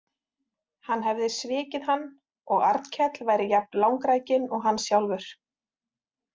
Hann hefði svikið hann og Arnkell væri jafn langrækinn og hann sjálfur.